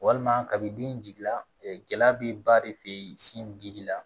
Walima kabi den jigi la gɛlɛya bɛ ba de fɛ sin dili la